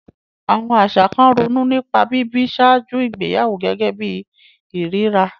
Àwọn àṣà kan ronú nípa bíbí ṣáájú ìgbéyàwó gẹ́gẹ́ bí ìríra.